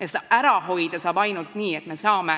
Ja seda saab ära hoida ainult nii, et me saame